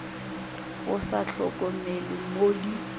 o sa hlokomele mo di